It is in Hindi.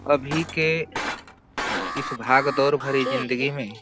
और इसमें पीले कलर की प्लेटफोर्म भी लगे हुए हैं।